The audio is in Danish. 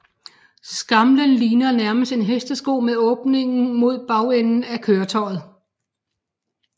Skamlen ligner nærmest en hestesko med åbningen mod bagenden af køretøjet